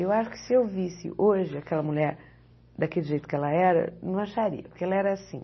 Eu acho que se eu visse hoje aquela mulher daquele jeito que ela era, não acharia, porque ela era assim.